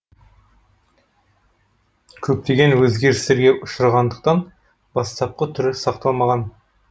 көптеген өзгерістерге ұшырағандықтан бастапқы түрі сақталмаған